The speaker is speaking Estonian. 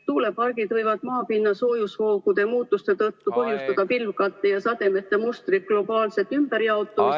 Tuulepargid võivad maapinna soojusvoogude muutuste tõttu põhjustada pilvkatte ja sademete mustri globaalset ümberjaotumist ...